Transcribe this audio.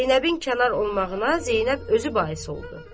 Zeynəbin kənar olmağına Zeynəb özü bais oldu.